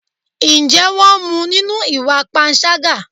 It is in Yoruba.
Ǹjẹ́ wón mú nínú ìwà panṣágà?